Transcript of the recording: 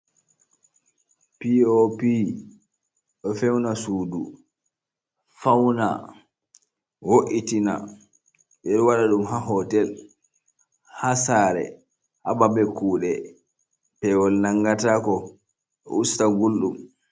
P.O.P, do fewna Suudu fauna, wo’itina be do waɗa ɗum ha hootel ha sare ha babal kudee pewol nangatako do husta gulɗum.